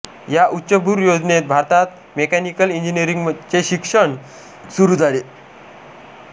या उच्चभ्रू योजनेत भारतात मेकॅनिकल इंजिनीअरिंगचे शिक्षण सुरू झाले